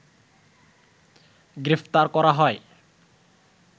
গ্রেফতার করা হয়